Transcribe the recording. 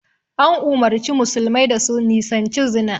An umarci musulmai da su nisanci zina